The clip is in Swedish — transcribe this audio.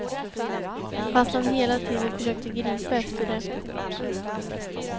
Fast han hela tiden försökte gripa efter det.